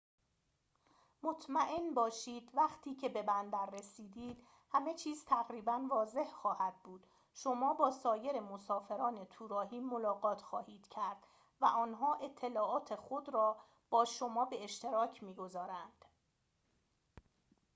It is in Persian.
مطمئن باشید وقتی که به بندر رسیدید همه چیز تقریباً واضح خواهد بود شما با سایر مسافران توراهی ملاقات خواهید کرد و آنها اطلاعات خود را با شما به اشتراک می‌گذارند